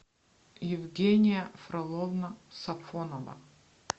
евгения фроловна сафонова